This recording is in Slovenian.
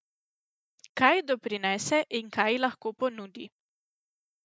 Kaj ji doprinese in kaj ji lahko ponudi?